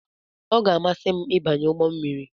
Ọ ga-amasị m ịbanye ụgbọ mmiri.